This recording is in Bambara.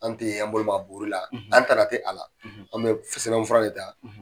An tɛ an bolo aka bukuri la, an tana tɛ a la, an bɛ sɛbɛn fura de ta